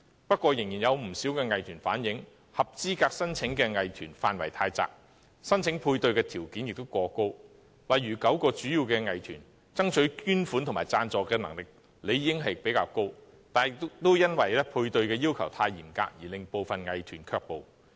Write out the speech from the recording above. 不過，仍有不少藝團反映，合資格申請的藝團範圍太窄，申請配對的條件亦過高，例如9個主要藝團爭取捐款和贊助的能力理應較高，但也因為配對的要求太嚴格而令部分藝團卻步。